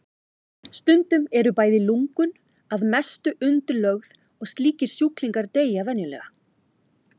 Stundum eru bæði lungun að mestu undirlögð og slíkir sjúklingar deyja venjulegast.